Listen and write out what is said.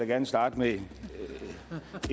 gerne starte med